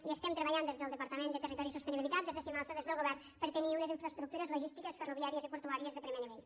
i estem treballant des del departament de territori i sostenibilitat des de cimalsa des del govern per a tenir unes infraestructures logístiques ferroviàries i portuàries de primer nivell